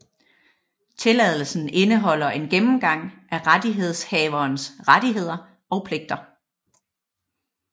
Tilladelsen indeholder en gennemgang af rettighedshaverens rettigheder og pligter